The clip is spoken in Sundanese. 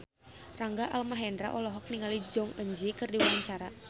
Rangga Almahendra olohok ningali Jong Eun Ji keur diwawancara